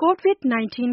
COVID-19